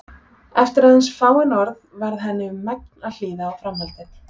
Eftir aðeins fáein orð varð henni um megn að hlýða á framhaldið.